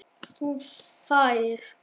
Þú þagðir.